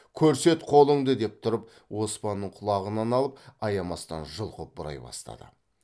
көрсет қолыңды деп тұрып оспанның құлағынан алып аямастан жұлқып бұрай бастады